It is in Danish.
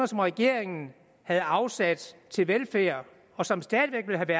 som regeringen havde afsat til velfærd og som stadig væk ville have